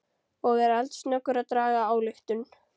Og er eldsnöggur að draga ályktun.